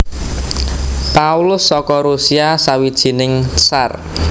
Paulus saka Rusia sawijining Tsar